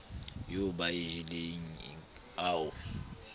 eo ba e jeleng ao